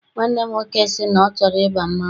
Nwanne m nwoke sị na ọ chọrọ ịba mmanwụ.